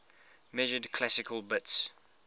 measured classical bits